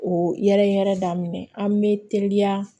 O yɛrɛ daminɛ an bɛ teliya